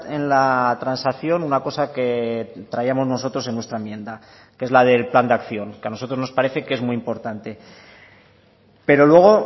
en la transacción una cosa que traíamos nosotros en nuestra enmienda que es la del plan de acción que a nosotros nos parece que es muy importante pero luego